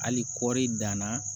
Hali kɔɔri danna